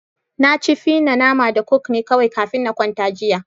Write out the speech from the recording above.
Na ci fi na nama da coke ne kawai kafin na kwanta jiya.